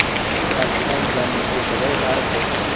जिन्होंने पाकिस्तान जाने के बजाय भारत